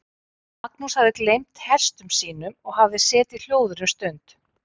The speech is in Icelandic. Magnús hafði gleymt hestum sínum og hafði setið hljóður um stund.